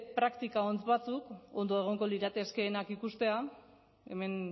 praktika on batzuk ondo egongo liratekeenak ikustea hemen